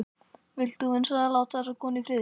Vilt þú vinsamlegast láta þessa konu í friði!